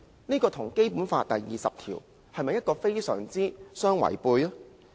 這與《基本法》第二十條是否相違背呢？